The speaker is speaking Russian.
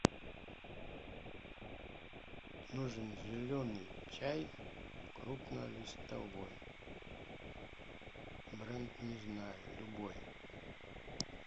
нужен зеленый чай крупнолистовой бренд не знаю любой